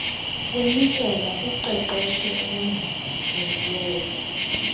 kunikelwa kuqeqesho olongezelelweyo